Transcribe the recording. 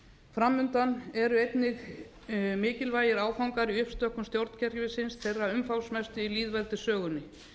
undan eru einnig mikilvægir áfangar í uppstokkun stjórnkerfisins þeirra umfangsmestu í lýðveldissögunni